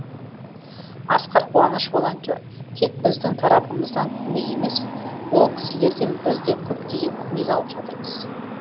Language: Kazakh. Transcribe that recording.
асқар қуаныш волонтер тек біздің тарапымыздан көмек емес ол кісілерден біз де көптеген көмек алып жатырмыз